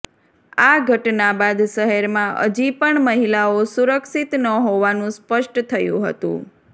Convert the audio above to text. આ ઘટના બાદ શહેરમાં હજી પણ મહિલાઓ સુરક્ષિત ન હોવાનું સ્પષ્ટ થયું હતું